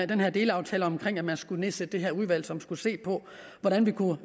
den her delaftale om at man skulle nedsætte det her udvalg som skulle se på hvordan vi kunne